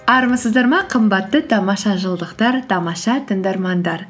армысыздар ма қымбатты тамаша жыл дықтар тамаша тыңдармандар